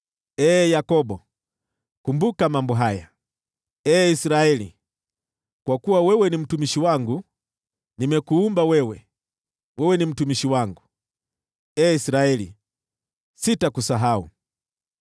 “Ee Yakobo, kumbuka mambo haya, ee Israeli, kwa kuwa wewe ni mtumishi wangu. Nimekuumba wewe, wewe ni mtumishi wangu. Ee Israeli, sitakusahau.